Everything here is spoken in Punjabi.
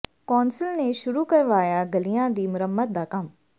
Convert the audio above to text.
ਕੌਂਸਲ ਨੇ ਸ਼ੁਰੂ ਕਰਵਾਇਆ ਗਲ਼ੀਆਂ ਦੀ ਮੁਰੰਮਤ ਦਾ ਕੰਮ